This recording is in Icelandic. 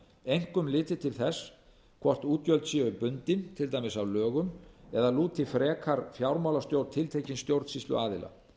einkum litið til þess hvort útgjöld séu bundin til dæmis af lögum eða lúti frekar fjármálastjórn tiltekins stjórnsýsluaðila